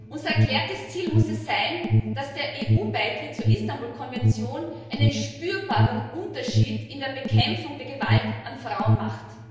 Unser erklärtes Ziel muss es sein, dass der EU Beitritt zur Istanbul Konvention einen spürbaren Unterschied in der Bekämpfung der Gewalt an Frauen macht.